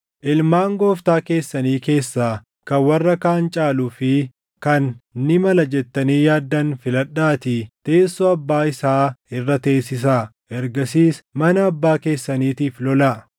ilmaan gooftaa keessanii keessaa kan warra kaan caaluu fi kan ni mala jettanii yaaddan filadhaatii teessoo abbaa isaa irra teessisaa. Ergasiis mana abbaa keessaniitiif lolaa.”